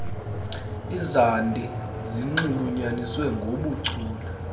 izandi zinxulunyaniswe ngoohuchule